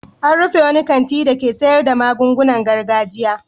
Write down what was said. An rufe wani kanti dake sayar da magungunan gargajiya.